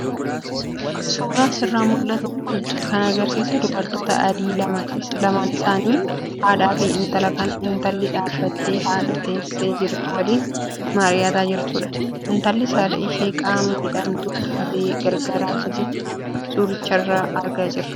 Suuraan asirraa mul'atu kun kan agarsiisu dubartoota adii lama isaanis haadhaa fi intala kan intalli dhaabbattee haadha teessee jirtu waliin mari'ataa jirtudha. Intallis haadha ishee qaama miidhamtuu taate gargaaraa akka jirtu suuricharraa argaa jirra.